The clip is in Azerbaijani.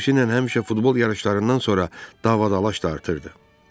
Xüsusilə həmişə futbol yarışlarından sonra dava-dalaş dartırdı.